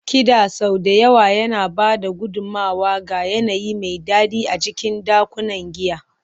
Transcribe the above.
Kiɗa sau da yawa yana ba da gudummawa ga yanayi mai daɗi a cikin ɗakunan giya.